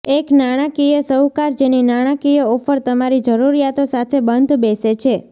એક નાણાકીય શાહુકાર જેની નાણાકીય ઓફર તમારી જરૂરિયાતો સાથે બંધબેસે છે